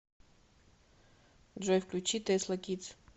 джой включи тэсла кидс